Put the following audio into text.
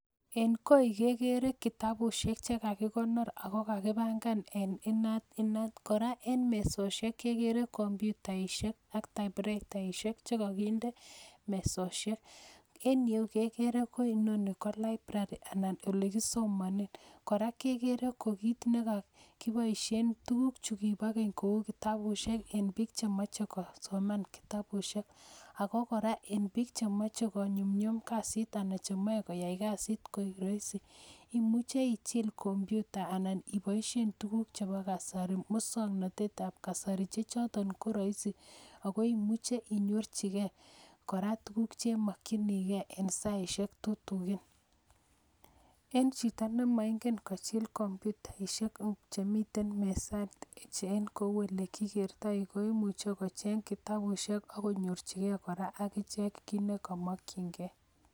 En koi kegeere kitabusiek chekakikonoor ako kakipangan en inat inat, kora en mesosieok kegeere komyutaisiek ak taipureitaisiek chekokinde mesosiek, en yuh kegere ko inoni KO library anan olekisomonen, kora kekeere ko kit nekokiboisien tuguk chukiboo keny kou kitabusiek en biik chemoche kosomaan kitabusiek ako kora en bik chemoche konyumnyum kasit anan cheboe koyai kasit koik Roisin, imuche ichil komyuta anan iboisie komyuta ne musoknotet ab kasari chechoton ko roisi ako imuche inyorchigei kora tuguk chemokyinigei en saisiek tutugin. En chito nemoingen kochill komyutaisiek chemiten meset en koulekikertoi koimuche kocheng kitabusiek ak konyorchige akichek kit nekomokyin gee